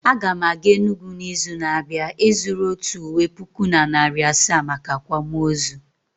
Aga m aga Enugwu n'izu na-abịa ịzụrụ otu ụwe puku na narị asaa maka akwamụozụ